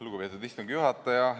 Lugupeetud istungi juhataja!